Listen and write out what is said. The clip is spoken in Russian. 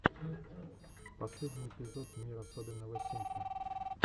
последний эпизод мир особенного симки